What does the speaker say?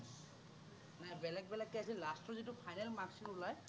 নাই নাই বেলেগ বেলেগকে আছিল last ৰ যিটো final marks টো ওলায়।